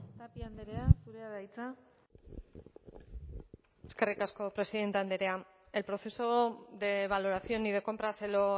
tapia andrea zurea da hitza eskerrik asko presidenta andrea el proceso de valoración y de compra se lo